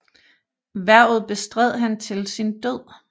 Hvervet bestred han til sin død